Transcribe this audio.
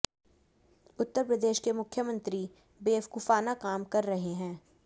उत्तर प्रदेश के मुख्यमंत्री बेवकूफाना काम कर रहे हैं